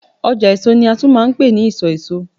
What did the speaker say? ọjà èso ni a tún ma ń pe ni isọ èso